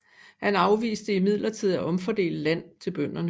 Han afviste imidlertid at omfordele land til bønderne